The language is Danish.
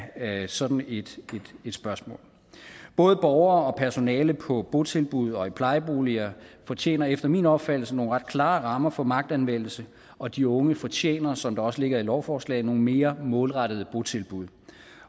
af sådan et spørgsmål både borgere og personale på botilbud og i plejeboliger fortjener efter min opfattelse nogle ret klare rammer for magtanvendelse og de unge fortjener som det også ligger i lovforslaget nogle mere målrettede botilbud